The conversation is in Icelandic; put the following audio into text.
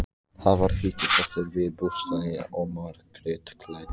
Það var heitur pottur við bústaðinn og Margrét klæddi